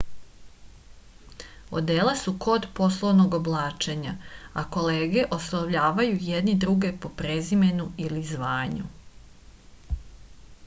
odela su kod poslovnog oblačenja a kolege oslovljavaju jedni druge po prezimenu ili zvanju